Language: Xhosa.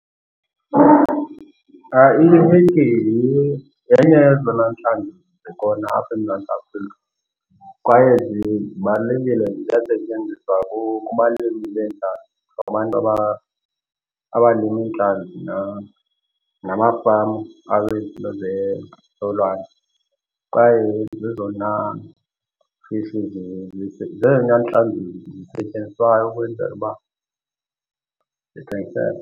I-hake yenye yezona ntlanzi zikhona apha eMzantsi Afrika kwaye zibalulekile, ziyasetyenziswa kubalimi beentlanzi nabantu abalima iintlanzi namafama akwizinto zolwandle. Kwaye zezona fishi zezona ntlanzi zisetyenziswayo ukwenzela uba zithengiseke.